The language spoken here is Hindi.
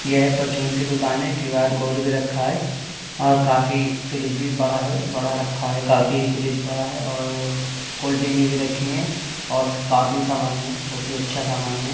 यह परचून की दुकान है क्यूआर कोड भी रखा है और काफी फ्रिज भी बड़ा है बड़ा रखा है काफी फ्रिज बड़ा है और कोल्डड्रिंक भी रखी हैं और काफी सामान है बहुत ही अच्छा सामान है।